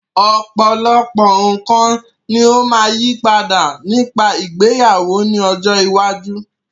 Ọ̀pọ̀lọpọ̀ nǹkan ní ó máa yí padà nípa ìgbéyàwó ní ọjọ́ iwájú.